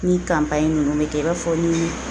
Ni ninnu be kɛ i b'a fɔ ni